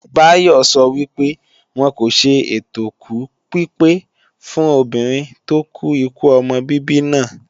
Bayo sọ wípé, wọn kò ṣe ètòkú pípé fún obìnrin tó kú ikú ọmọ bíbí náà